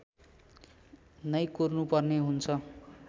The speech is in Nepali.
नै कुर्नुपर्ने हुन्छ